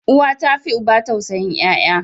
Uwa tafi uba tausayin yaya.